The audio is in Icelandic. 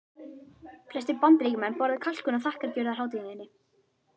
Flestir Bandaríkjamenn borða kalkún á þakkargjörðarhátíðinni.